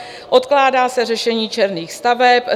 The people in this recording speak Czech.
Odkládá se řešení černých staveb.